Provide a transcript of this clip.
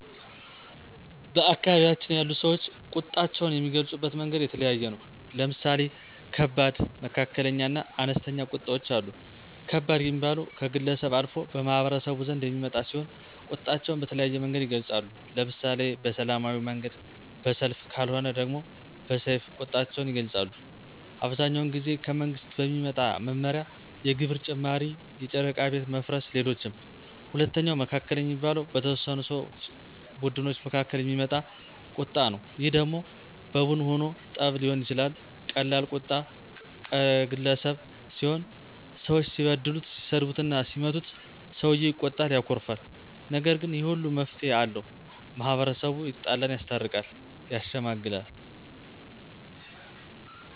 በአካባቢያችን ያሉ ሰወች ቁጣቸውን የሚገልፁበት መንገድ የተለያየ ነው። ለምሳሌ ከባድ፣ መካከለኛ እና አነስተኛ ቁጣወች አሉ። ከባድ ሚባለው ከግለሰብ አልፎ በማህበረሰቡ ዘንድ የሚመጣ ሲሆን ቁጣቸውን በተለያየ መንገድ ይገልፃሉ። ለምሳሌ በሰላማዊ መንገድ በሰልፍ ከልወነ ደሞ በሰይፍ ቁጣቸውን ይገልጣሉ። አብዛኛውን ጊዜ ከመንግስት በሚመጣ መመሪያ የግብር ጭማሪ የጨረቃ ቤት መፍረስ ሌሎችም። ሁለተኛው መካከለኛ የሚባለው በተወሰኑ ሰው ቡድኖች መካከል የሚመጣ ቀጣ ነው ይህ ደሞ በቡን ሁኖ ጠብ ሊሆን ይችላል ቀላል ቁጣ ቀገለሰብ ሲሆን ሰወች ሲበድሉት ሲሰድቡትና ሲመቱት ሰውየው ይቆጣል ያኮርፋል። ነገር ግን ይህ ሁሉ መፍትሄ አለው። ማህበረሰቡ የተጣላን ያስታርቃል። ያሸመግላል